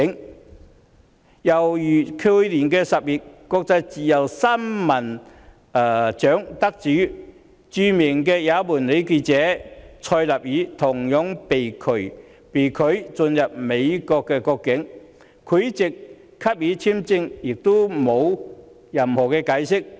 另一個例子是，去年10月，國際自由新聞獎得主，即著名也門女記者納賽爾，同樣被拒進入美國國境，而美國在拒發簽證後並無任何解釋。